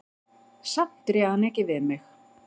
Samt réð hann ekki við mig.